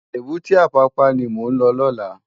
Ébùté Apapa ni mó n lò lòlá